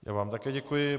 Já vám také děkuji.